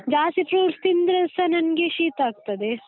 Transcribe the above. ಜಾಸ್ತಿ fruits ತಿಂದ್ರೆಸ ನಂಗೆ ಶೀತ ಆಗ್ತದೆ.